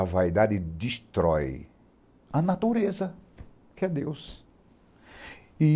A vaidade destrói a natureza, que é Deus. E